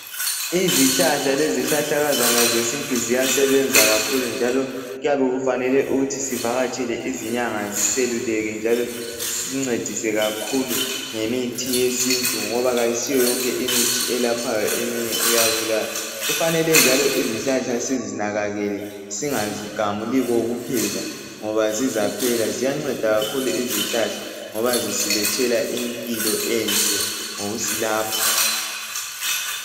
Izihlahla lezihlahlakazana zesintu ziyasebenza kakhulu njalo kuyabe kufanele ukuthi sivakatshele izinyanga ziseluleke njalo zisincedise kakhulu ngemithi yesintu ngoba kayisiyo yonke imithi elaphayo, eminye iyabulala. Kufanele njalo izihlahla sizinakekele, singazigamuli kokuphela ngoba zizaphela. Ziyanceda kakhulu izihlahla ngoba zisilethela impilo enhle ngokusilapha.